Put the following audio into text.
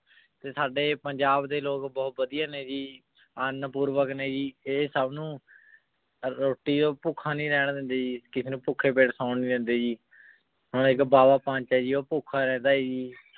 ਤੇ ਸਾਡੇ ਪੰਜਾਬ ਦੇ ਲੋਗ ਬੋਹਤ ਵਾਦਿਯ ਨੇ ਜੀ ਅੰਨ ਪੂਰਵਕ ਨੇ ਜੀ ਆਯ ਸਬ ਨੂ ਰੋਟੀ ਤੋਂ ਪੋਖਾ ਨਾਈ ਰੇਹਾਨ ਦੇਂਦੀ ਜੀ ਕਿਸੇ ਨੂ ਭੂਖਾ ਨਾਈ ਸਨ ਦੇਂਦੀ ਜੀ ਹਨ ਏਇਕ ਬਾਬਾ ਪੰਡਿਤ ਆਯ ਜੀ ਊ ਭੁਖਾ ਰਹੰਦਾ ਜੀ